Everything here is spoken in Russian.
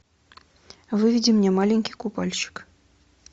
выведи мне маленький купальщик